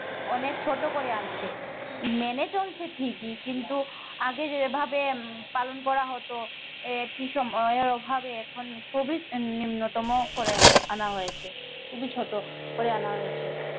অনেক ছোট করে আনছে মেনে চলছে ঠিকই কিন্তু আগে যে ভাবে উম পালন করা হতো এটি সময় এর অভাবে এখন খুবই নিম্নতম করে আনা হয়েছে খুবই ছোট করে আনা হয়েছে।